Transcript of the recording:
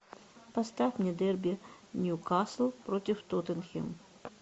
поставь мне дерби ньюкасл против тоттенхэм